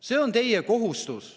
See on teie kohustus.